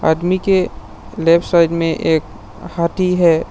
आदमी के left side में एक हाथी है।